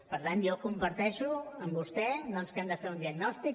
per tant jo comparteixo amb vostè doncs que hem de fer un diagnòstic